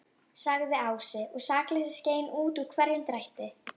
sagði Ási, og sakleysið skein út úr hverjum drætti.